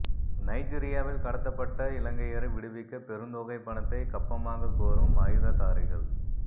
நைஜீரியாவில் கடத்தப்பட்ட இலங்கையரை விடுவிக்க பெருந்தொகை பணத்தை கப்பமாகக் கோரும் ஆயுததாரிகள்